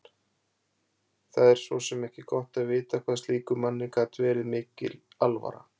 Það var svo sem ekki gott að vita hvað slíkum manni gat verið mikil alvara.